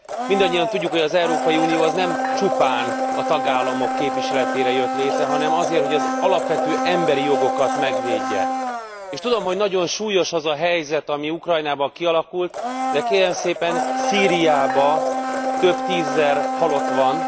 Mindannyian tudjuk, hogy az Európai Unió nem csupán a tagállamok képviseletére jött létre, hanem azért, hogy az alapvető emberi jogokat megvédje, és tudom, hogy nagyon súlyos az a helyzet, ami Ukrajnában kialakult, de kérem szépen, Szíriában több tízezer halott van.